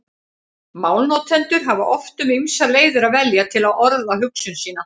Málnotendur hafa oft um ýmsar leiðir að velja til að orða hugsun sína.